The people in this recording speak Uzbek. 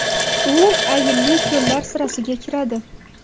U ayilli ko‘llar sirasiga kiradi.